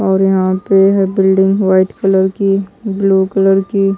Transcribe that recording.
और यहां पे है बिल्डिंग व्हाइट कलर की ब्लू कलर की--